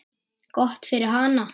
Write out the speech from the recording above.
Gott fyrir hana.